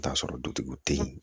T'a sɔrɔ dutigiw te yen